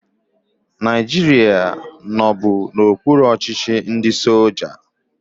Naijiria nọbu n'okpuru ọchịchị ndị soja